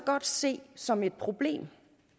godt se som et problem